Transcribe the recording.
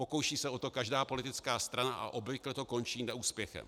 Pokouší se o to každá politická strana a obvykle to končí neúspěchem.